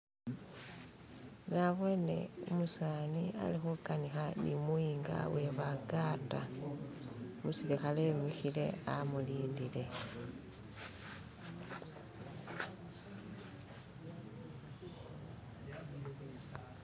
Nabone umuseza alikuganika nu'muyinga iwebaganda, umusilikale imikile amulindile